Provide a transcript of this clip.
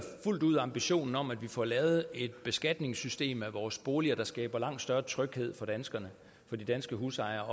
fuldt ud ambitionen om at vi får lavet et beskatningssystem vores boliger der skaber langt større tryghed for danskerne for de danske husejere